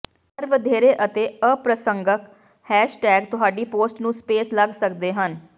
ਪਰ ਵਧੇਰੇ ਅਤੇ ਅਪ੍ਰਸੰਗਕ ਹੈਸ਼ਟੈਗ ਤੁਹਾਡੀ ਪੋਸਟ ਨੂੰ ਸਪੈਮ ਲੱਗ ਸਕਦੇ ਹਨ